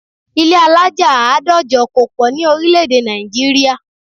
Ilé alájà àádọ́jọ kò pọ̀ ní orílẹ̀ èdè Nàìjíríà